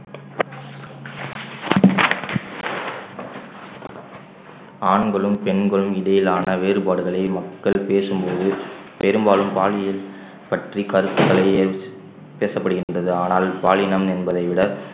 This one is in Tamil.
ஆண்களும் பெண்களும் இடையிலான வேறுபாடுகளை மக்கள் பேசும்போது பெரும்பாலும் பாலியல் பற்றி கருத்துக்களையே பேசப்படுகின்றது ஆனால் பாலினம் என்பதை விட